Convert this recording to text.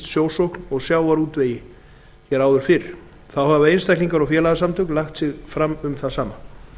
sjósókn og sjávarútvegi hér áður fyrr þá hafa einstaklingar og félagasamtök lagt sig fram um það sama